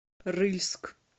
рыльск